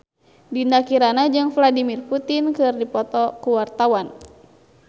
Dinda Kirana jeung Vladimir Putin keur dipoto ku wartawan